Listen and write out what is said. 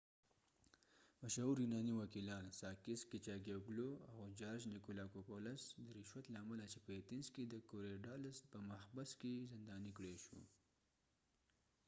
مشهور یونانی وکېلان ساکېس کېچاګیې وګلو sakis kichagiouglouاو جارج نیکولاکوپولس george nikolakopoulos د رشوت له امله چې په ایتنز کې د کوریډالس korydallus په محبس کې زندانی کړای شو